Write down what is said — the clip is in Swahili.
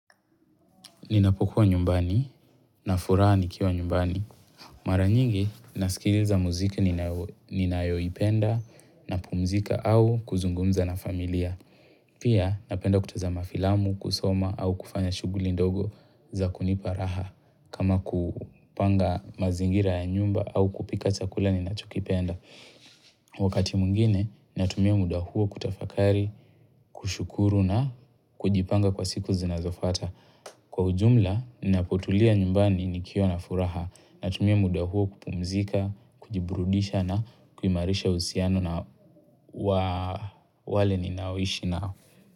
Ninapokuwa nyumbani na furaha nikiwa nyumbani. Mara nyingi nasikiliza muziki ninayoipenda napumzika au kuzungumza na familia. Pia napenda kutazama filamu, kusoma au kufanya shughuli ndogo za kunipa raha. Kama kupanga mazingira ya nyumba au kupika chakula ninachokipenda. Wakati mwingine natumia muda huo kutafakari, kushukuru na kujipanga kwa siku zinazofuata. Kwa ujumla, napotulia nyumbani nikiwa na furaha natumia muda huo kupumzika, kujiburudisha na kuimarisha uhusiano na wale ninaoishi nao.